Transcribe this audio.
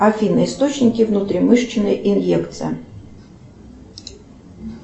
афина источники внутримышечной инъекции